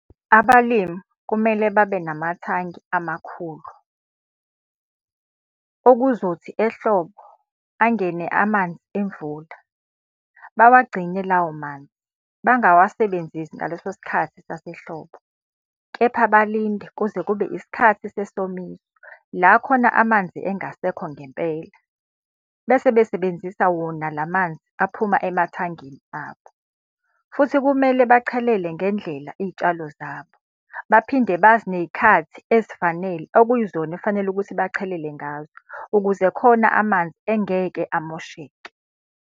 Abalimi kumele babe namathangi amakhulu. Okuzothi ehlobo angene amanzi emvula, bawagcine lawo manzi, bangawasebenzisi ngaleso sikhathi sasehlobo. Kepha balinde kuze kube isikhathi sesomiso, la khona amanzi engasekho ngempela. Bese besebenzisa wona la manzi aphuma emathangeni abo. Futhi kumele bachelele ngendlela iy'tshalo zabo, baphinde bazi ney'khathi ezifanele okuyizona ekufanele ukuthi bachelele ngazo, ukuze khona amanzi engeke amosheke.